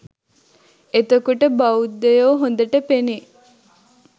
එතකොට බෞද්ධයෝ හොඳට පෙනෙයි.